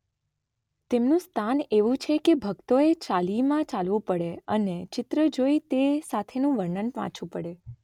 તેમનું સ્થાન એવું છે કે ભક્તોએ ચાલીમાં ચાલવું પડે અને ચિત્ર જોઈ તે સાથેનું વર્ણન વાંચવુ પડે